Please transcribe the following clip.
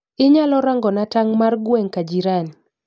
Inyalo rangona tang' mar gweng ka jiran